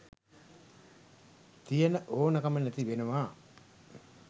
තියන ඕන කම නැති වෙනවා